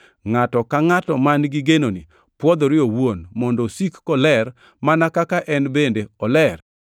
Ngʼato ka ngʼato man-gi genoni pwodhore owuon mondo osik koler mana kaka en bende oler.